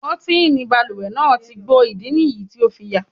Kọ́tìnì balùwẹ̀ náà ti gbó, ìdí nìyí tí o fi yà.